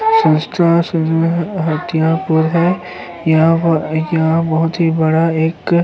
संस्था हथियापुर है। यहाँ पर यहाँ बहुत ही बड़ा एक --